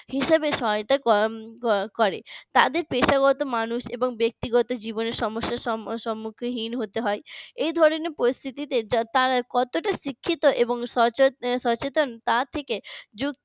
হিসাবে সহায়তা করে তাদের পেশাগত মানুষ এবং ব্যক্তিগত জীবনে সমস্যা সম্মুখীন হতে হয় এই ধরনের পরিস্থিতিতে তারা কতটা শিক্ষিত এবং সচেতন তা থেকে